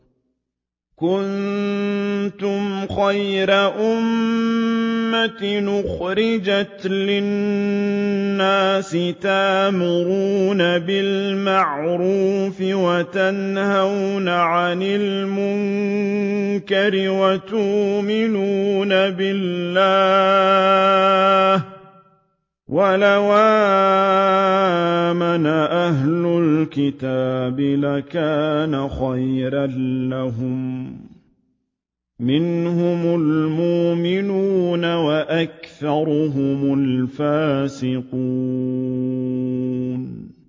كُنتُمْ خَيْرَ أُمَّةٍ أُخْرِجَتْ لِلنَّاسِ تَأْمُرُونَ بِالْمَعْرُوفِ وَتَنْهَوْنَ عَنِ الْمُنكَرِ وَتُؤْمِنُونَ بِاللَّهِ ۗ وَلَوْ آمَنَ أَهْلُ الْكِتَابِ لَكَانَ خَيْرًا لَّهُم ۚ مِّنْهُمُ الْمُؤْمِنُونَ وَأَكْثَرُهُمُ الْفَاسِقُونَ